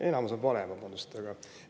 Enamus on vale, vabandust!